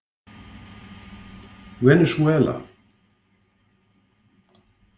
Venesúela